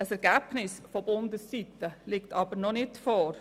Ein Ergebnis vonseiten Bund liegt aber noch nicht vor.